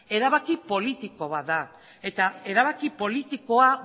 erabaki politiko bat da eta erabaki politikoa